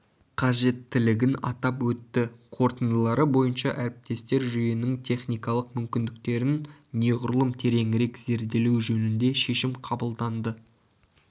қажеттілігін атап өтті қорытындылары бойынша әріптестер жүйенің техникалық мүмкіндіктерін неғұрлым тереңірек зерделеу жөнінде шешім қабылданды